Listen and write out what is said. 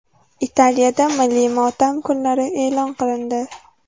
Italiyada milliy motam kunlari e’lon qilindi.